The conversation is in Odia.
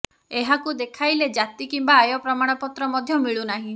ଏହାକୁ ଦେଖାଇଲେ ଜାତି କିମ୍ବା ଆୟ ପ୍ରମାଣମତ୍ର ମଧ୍ୟ ମିଳୁନାହିଁ